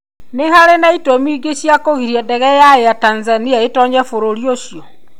Nĩ harĩ itũmi ingĩ cia kũgiria ndege ya Air Tanzania ĩtoonye bũrũri ũcio?